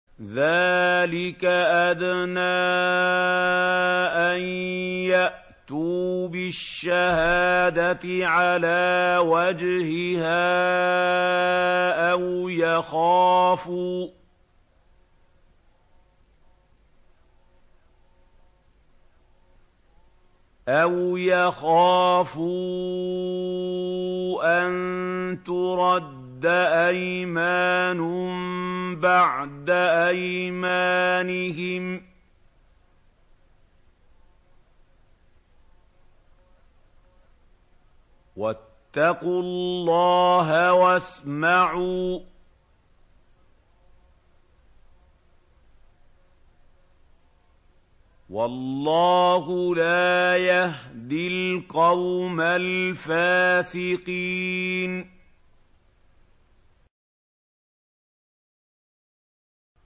ذَٰلِكَ أَدْنَىٰ أَن يَأْتُوا بِالشَّهَادَةِ عَلَىٰ وَجْهِهَا أَوْ يَخَافُوا أَن تُرَدَّ أَيْمَانٌ بَعْدَ أَيْمَانِهِمْ ۗ وَاتَّقُوا اللَّهَ وَاسْمَعُوا ۗ وَاللَّهُ لَا يَهْدِي الْقَوْمَ الْفَاسِقِينَ